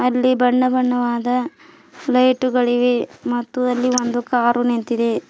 ಅಲ್ಲಿ ಬಣ್ಣ ಬಣ್ಣವಾದ ಫ್ಲೈಟುಗಳಿವೆ ಮತ್ತು ಅಲ್ಲಿ ಒಂದು ಕಾರು ನಿಂತಿದೆ.